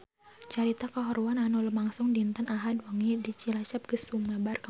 Carita kahuruan anu lumangsung dinten Ahad wengi di Cilacap geus sumebar kamana-mana